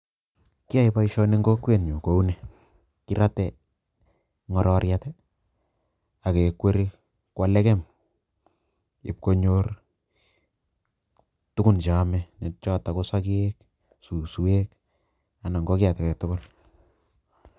Kiyae boisioni eng kokwenyu kou ni kirate ngororiet ii ak kekweri kwo legem ipkonyor tugun cheome chotok ko sokek, suswek anan ko kiy age tugul.